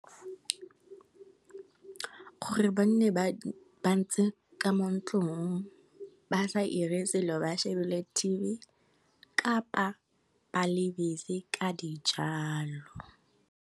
Gore ba nne ba ba ntse ka mo ntlong, ba sa ire selo ba shebile t_v kapa ba le busy ka di jalo.